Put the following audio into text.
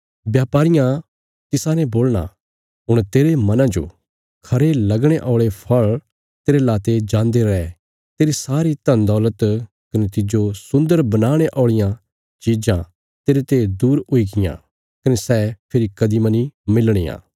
ब्यापारियां तिसाने बोलणा हुण तेरे मना जो खरे लगणे औल़े फल़ तेरे लाते जान्दे रै तेरी सारी धनदौलत कने तिज्जो सुन्दर बनाणे औल़ियां चिज़ां तेरते दूर हुई गईयां कने सै फेरी कदीं मनी मिलणियां